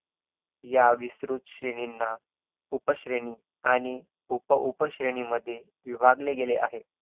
आयुर्वेद शब्दाचे नियुक्ती आयुष्य निढ आयुर्वेदह आयुर्वेद या शब्दांमधील आयु व वेध या शब्दाचे अर्थ आता आपण बघणार आहोत.